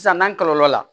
Sisan n'an kɔlɔlɔ la